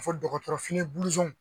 A fo dɔgɔtɔrɔ fini